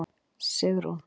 Sigrún